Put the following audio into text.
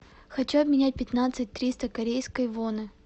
хочу обменять пятнадцать триста корейской воны